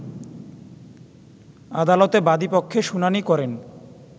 আদালতে বাদিপক্ষে শুনানি করেন